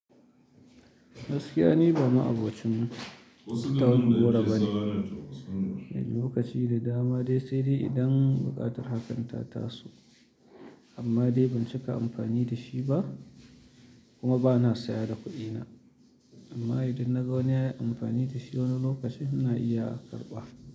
Gaskiya ni ba ma'abocin tauna goro bane. Inda lokaci da dama dai sai dai idan buƙatar hakan ta taso amma dai ban cika amfani da shi ba kuma bana saya da kuɗina. Amma idan na ga wani ya yi amfani da shi wani lokaci ina iya karɓa.